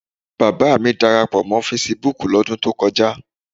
Bàbá à mi darapọ̀ mọ́ fesibúùkù lọ́dún tó kọjá.